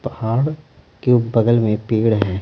पहाड़ के बगल में पेड़ है।